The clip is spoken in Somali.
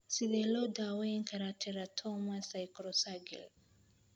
Sidee loo daweyn karaa teratoma sacrococcygeal?